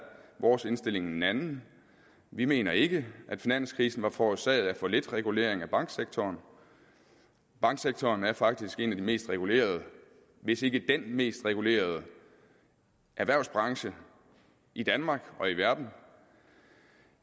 vores indstilling en anden vi mener ikke at finanskrisen var forårsaget af for lidt regulering af banksektoren banksektoren er faktisk en af de mest regulerede hvis ikke den mest regulerede erhvervsbranche i danmark og i verden